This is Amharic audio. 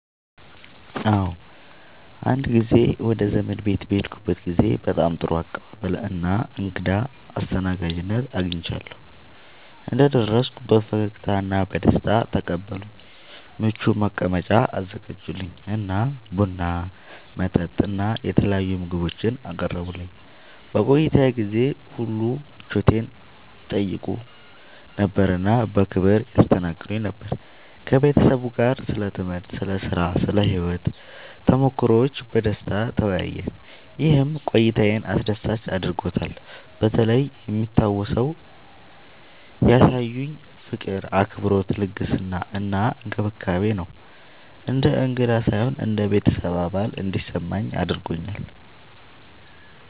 አዎ፣ አንድ ጊዜ ወደ አንድ ዘመዴ ቤት በሄድኩበት ጊዜ በጣም ጥሩ አቀባበል እና እንግዳ አስተናጋጅነት አግኝቻለሁ። እንደደረስኩ በፈገግታ እና በደስታ ተቀበሉኝ፣ ምቹ መቀመጫ አዘጋጁልኝ እና ቡና፣ መጠጥ እና የተለያዩ ምግቦችን አቀረቡልኝ። በቆይታዬ ጊዜ ሁሉ ምቾቴን ይጠይቁ ነበር እና በክብር ያስተናግዱኝ ነበር። ከቤተሰቡ ጋር ስለ ትምህርት፣ ስለ ሥራ እና ስለ ሕይወት ተሞክሮዎች በደስታ ተወያየን፣ ይህም ቆይታዬን አስደሳች አድርጎታልበተለይ የሚታወሰው ያሳዩኝ ፍቅር፣ አክብሮት፣ ልግስና እና እንክብካቤ ነው። እንደ እንግዳ ሳይሆን እንደ ቤተሰብ አባል እንዲሰማኝ አድርገውኛል።